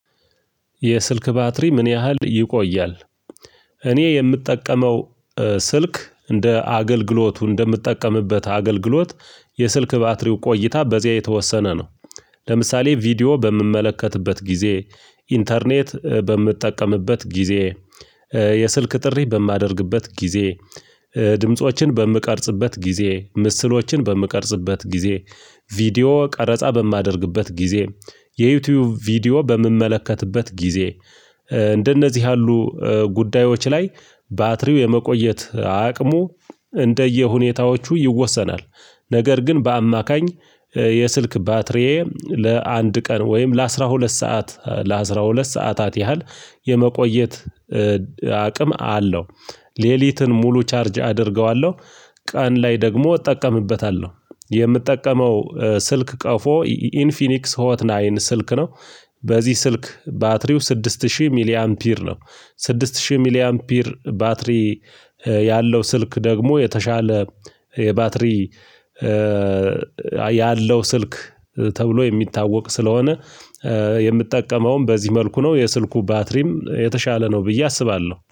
የስልክህ ባትሪ ምን ያህል ይቆያል? እኔ የምጠቀመው ስልክ እንደ አገልግሎቱ እንደምትጠቀምበት አገልግሎት የስልክ ባትሪው ቆይታ በዚያ የተወሰነ ነው። ለምሳሌ ቪዲዮ በምመለከትበት ጊዜ ኢንተርኔት በምትጠቀምበት ጊዜ የስልክ ጥሪ በማደርግበት ጊዜ ድምፆችን በምቀርጽበት ጊዜ ምስሎችን በምቀርጽበት ጊዜ ቪዲዮ ቀረጻ በማደርግበት ጊዜ የዩቲዩብ ቪዲዮ በምመለከትበት ጊዜ እንደነዚህ ያሉ ጉዳዮች ላይ ባትሪው የመቆየት አቅሙ እንደየሁኔታዎቹ ይወሰናል። ነገር ግን በአማካኝ የስልክ ባትሪዬ ለአንድ ቀን ወይም ለ አስራ ሁለት ሰአህ ለአሥራ ሁለት ሰዓት ለአሥራ ሁለት ሰዓታት ያህል የመቆየት አቅም አለው። ሌሊትን ሙሉ ቻርጅ አደርገዋለሁ ቀን ላይ ደግሞ እጠቀምበታለሁ የምጠቀመው ስልክ ቀፎ ኢንፊኒክስ ሆት ናይን ስልክ ነው። በዚህ ስልክ ባትሪው ስድስት ሺህ ሚሊ ፒር ነው። ስድስት ሺህ ሚሊያን ፒር ባትሪ ያለው ስልክ ደግሞ የተሻለ የባትሪ ያለው ስልክ ተብሎ የሚታወቅ ስለሆነ የምትጠቀመውም በዚህ መልኩ ነው የስልኩ ባትሪም የተሻለ ነው ብዬ አስባለሁ